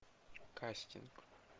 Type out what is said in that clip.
кастинг